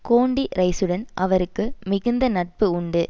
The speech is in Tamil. கோண்டி ரைசுடன் அவருக்கு மிகுந்த நட்பு உண்டு